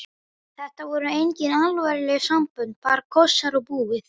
Þetta voru engin alvarleg sambönd, bara kossar og búið.